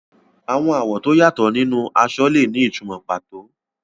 Àwọn àwọ̀ tó yàtọ̀ nínú aṣọ lè ní ìtumọ̀ pàtó.